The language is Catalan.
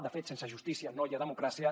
de fet sense justícia no hi ha democràcia